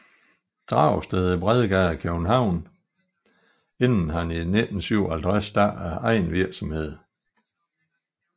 Dragsted i Bredgade København inden han i 1957 startede egen virksomhed